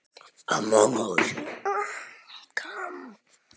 Fjöldi íbúða yrði samtals átta.